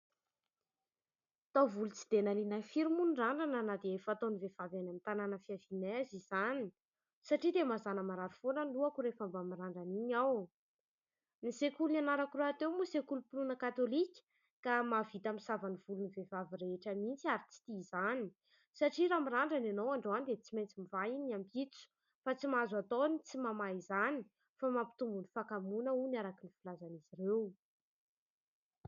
Taovolo tsy dia nahaliana ahy firy moa ny randrana na dia efa fataon'ny vehivavy any amin'ny tanàna fiavianay aza izany, satria dia mazàna marary foana ny lohako rehefa mba mirandrana iny aho. Ny sekoly nianarako rahateo moa sekolim-pinoana katolika ka mahavita misava ny volon'ny vehivavy rehetra mihitsy ary tsy tia izany, satria raha mirandrana ianao androany dia tsy maintsy mivaha iny ny ampitso fa tsy mahazo atao ny tsy mamaha izany fa mampitombo ny hakamoana hono araka ny filazan'izy ireo.